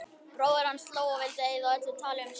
Bróðir hans hló og vildi eyða öllu tali um söng.